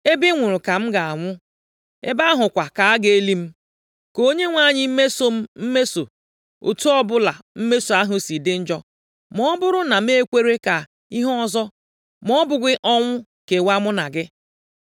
ebe ị nwụrụ ka m ga-anwụ, ebe ahụ kwa ka a ga-eli m. Ka Onyenwe anyị mesoo m mmeso, otu ọbụla mmeso ahụ si dị njọ, ma ọ bụrụ na m ekwere ka ihe ọzọ, ma ọ bụghị ọnwụ, kewaa mụ na gị.”